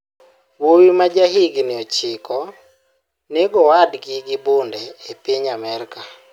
Wuowi ma jahigini 9 nego owadgi gi bunde e piny Amerka